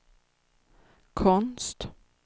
konst